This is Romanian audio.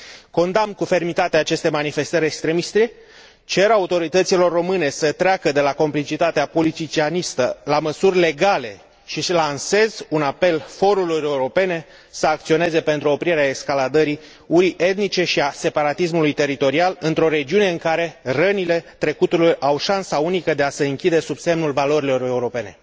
Condamn cu fermitate aceste manifestări extremiste, cer autorităților române să treacă de la complicitatea politicianistă, la măsuri legale, și lansez un apel forurilor europene să acționeze pentru oprirea escaladării urii etnice și a separatismului teritorial într o regiune în care rănile trecutului au șansa unică de a se închide sub semnul valorilor europene.